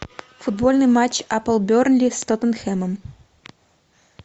футбольный матч апл бернли с тоттенхэмом